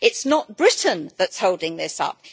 It is not Britain that is holding this up.